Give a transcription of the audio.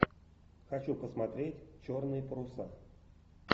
хочу посмотреть черные паруса